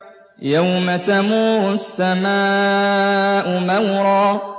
يَوْمَ تَمُورُ السَّمَاءُ مَوْرًا